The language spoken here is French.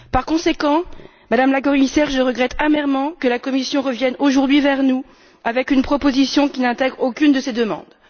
Par conséquent, Madame la Commissaire, je regrette amèrement que la Commission revienne aujourd'hui vers nous avec une proposition qui n'intègre aucune de ces demandes.